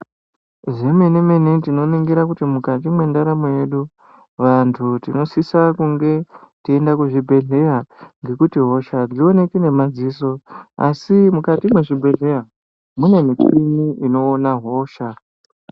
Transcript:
Zvemene mene tinoningira kuti mukati mwendaramo yedu vantu tinosisa kunge teienda kuzvibhedhleya ngekuti hosha hadzioneki ngemadziso asi mukati mwezvibhedhleya mune michini inoona hosha.